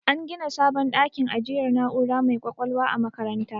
An gina sabon dakin ajiyar na'ura mai ƙwaƙwalwa a makarantar.